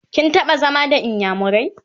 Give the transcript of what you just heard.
kin taɓa zama da inyamurai?